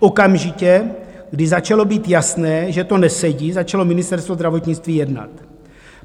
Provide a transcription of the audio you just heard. Okamžitě, když začalo být jasné, že to nesedí, začalo Ministerstvo zdravotnictví jednat.